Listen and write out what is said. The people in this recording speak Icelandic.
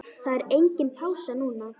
Það er engin pása núna.